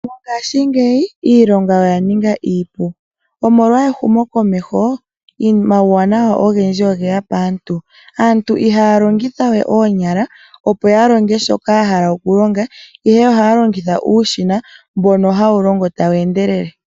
Mongashingeyi iilonga oya ninga iipu. Omolwa ehumokomeho, omauwanawa ogendji oge ya paantu. Aantu ihaya longitha we oonyala, opo ya longe shoka ya hala okulonga, ihe ohaya longitha uushina mbono hawu longo tawu endelele.